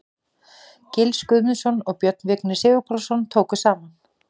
Gils Guðmundsson og Björn Vignir Sigurpálsson tóku saman.